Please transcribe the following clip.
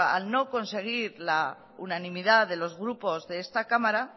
al no conseguir la unanimidad de los grupos de esta cámara